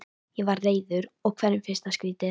Ég var reiður og hverjum finnst það skrýtið?